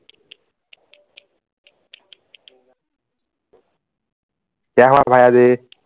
क्य़ा हुवा भाय़ाजी